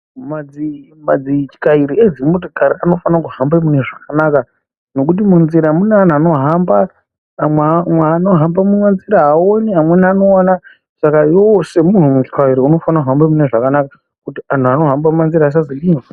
Madzi madzityairi edzimotokari anofanire kuhambe mune zvakanaka nekuti munzira mune anhu anohamba amwe umwe anohamba munzira aoni amweni anoona saka iwewe semunhu mutyairiunofanira kuhambe munezvakanaka kuti anhu anohambe mumanzira asazodini.